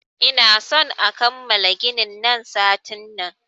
Ina son a kammala ginin nan satin nan!